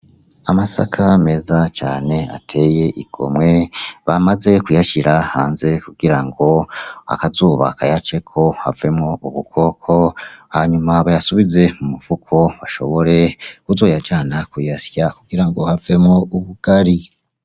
Amasaka meza cane atey'igomwe, bamaze kuyashira hanze kugirango akazuba kayaceko havemwo ubukoko ,hanyuma bayasubize mu mifuko bashobore kuzoyajana kuyasya kugirango avemwo ubugari.